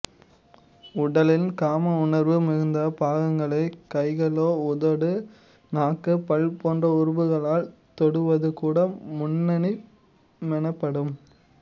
உடலின் காம உணர்வு மிகுந்த பாகங்களை கைகளாலோ உதடு நாக்கு பல் போன்ற உறுப்புகளால் தொடுவது கூட முன்னின்பமெனப்படும்